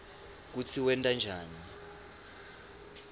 kutsi wenta njani